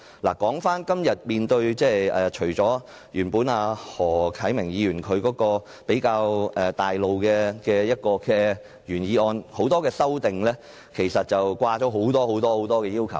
說回今天的議題，除了何啟明議員比較概括的原議案外，很多修正案均加入了很多要求。